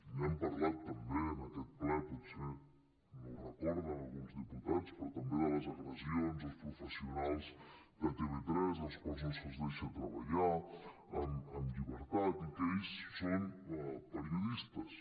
n’hem parlat també en aquest ple potser no ho recorden alguns diputats però també de les agressions als professionals de tv3 als quals no se’ls deixa tre·ballar amb llibertat i que ells són periodistes